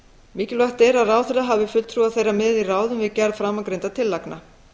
mikilvægt er að ráðherra hafi fulltrúa þeirra með í ráðum við gerð framangreindra tillagna